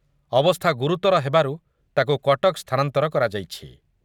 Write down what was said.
ଅବସ୍ଥା ଗୁରୁତର ହେବାରୁ ତାକୁ କଟକ ସ୍ଥାନାନ୍ତର କରାଯାଇଛି ।